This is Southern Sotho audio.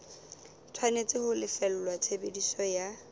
tshwanetse ho lefella tshebediso ya